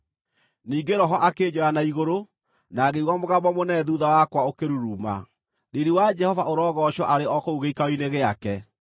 Ningĩ Roho akĩnjoya na igũrũ, na ngĩigua mũgambo mũnene thuutha wakwa ũkĩruruma. (Riiri wa Jehova ũrogoocwo arĩ o kũu gĩikaro-inĩ gĩake!)